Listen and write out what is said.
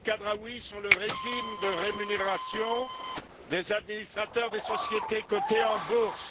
El Khadraoui sur le régime de rémunération des administrateurs des sociétés cotées en bourse.